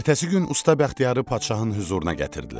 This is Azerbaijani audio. Ertəsi gün usta Bəxtiyarı padşahın hüzuruna gətirdilər.